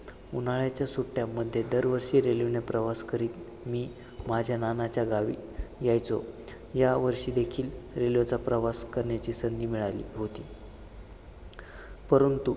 उन्हाळ्याच्या सुट्ट्यामध्ये दरवर्षी railway ने प्रवास करीत, मी माझ्या नानाच्या गावी यायचो, यावर्षी देखील railway चा प्रवास करण्याची संधी मिळाली होती, परंतु